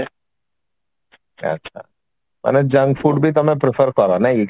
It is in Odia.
ଆଛା ମାନେ junk food ବି ତମେ prefer କର